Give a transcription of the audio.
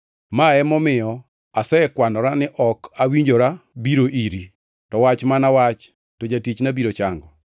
Ma emomiyo asekwanora ni ok awinjora biro iri. To wach mana wach to jatichna biro chango.